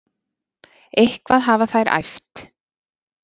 Eitthvað hafa þær æft.